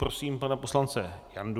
Prosím pana poslance Jandu.